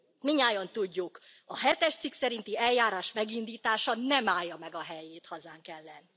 Mindnyájan tudjuk, a hetes cikk szerinti eljárás megindítása nem állja meg a helyét hazánk ellen.